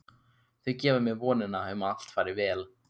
Þau gefa mér vonina um að allt fari vel.